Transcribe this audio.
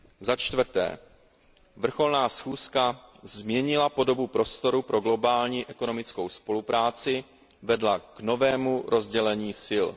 Za čtvrté, vrcholná schůzka změnila podobu prostoru pro globální ekonomickou spolupráci, vedla k novému rozdělení sil.